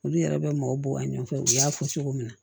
Olu yɛrɛ bɛ maaw bɔ a ɲɛfɛ u y'a fɔ cogo min na